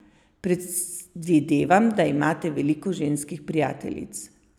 Predvidevam, da imate veliko ženskih prijateljic.